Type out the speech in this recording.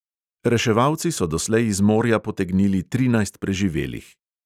Reševalci so doslej iz morja potegnili trinajst preživelih.